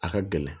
A ka gɛlɛn